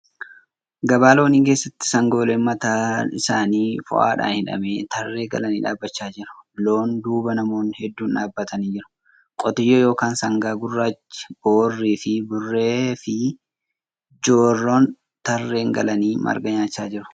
Gabaa loonii keessatti sangooleen mataan isaanii foo'aadhaan hidhame tarree galanii dhaabachaa jiru. Loon duuba namoonni hedduun dhaabbatanii jiru. Qotiyyoo yookan sangaan gurraachi , boorri, burree fi jorroon tarree galanii marga nyaachaa jiru.